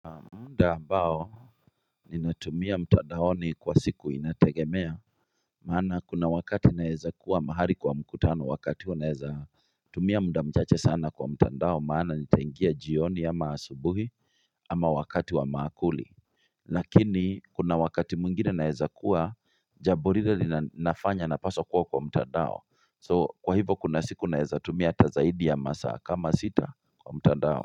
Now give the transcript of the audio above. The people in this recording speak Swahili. Muda ambao ninatumia mtandaoni kwa siku inategemea maana kuna wakati naeza kuwa mahali kwa mkutano wakati huo naeza tumia muda mchache sana kwa mtandao maana nitaingia jioni ama asubuhi ama wakati wa maakuli Lakini kuna wakati mwingine naweza kuwa jambo rire nafanya napaswa kuwa kwa mtandao so kwa hivo kuna siku naeza tumia tazaidi ya masa kama sita kwa mtandao.